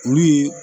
Olu ye